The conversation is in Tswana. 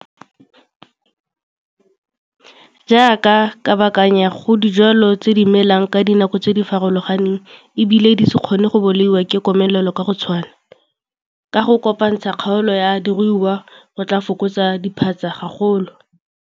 Jaaka, kabakanya go dijwalwa tse di melang ka dinako tse di farologaneng e bile di se kgone go bolaiwa ke komelelo ka go tshwana. Ka go kopantsha kgaolo ya diruiwa go tlaa fokotsa diphatsa gagolo.